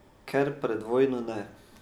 Ker pred vojno ne.